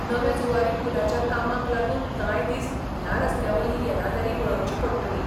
नव्या जुवारी पुलाच्या कामांक लागून कांय दिस ह्या रस्त्यावयली येरादारी वळोवची पडटली.